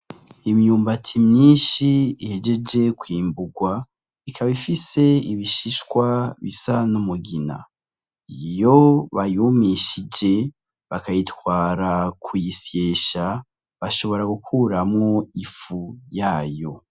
Imyumbati myinshi ihejeje kwimburwa ikaba ifise ibishishwa bisa n'umugina. Iyo bayumishije bakayitwara kuyisyesha, bashobora gukuramwo ifu yayo.